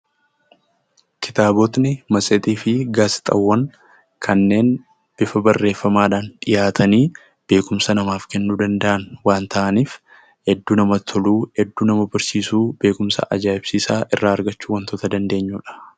Kitaabota, matseetii fi gaazexaawwan kanneen bifa barreeffamatiin dhiyaatanii beekumsa namaaf kennuu danda'an waan ta'aniif hedduu namatti toluu, hedduu nama barsiisuu beekumsa ajaa'ibsiisaa irraa argachuu wantoota dandeenyuudha.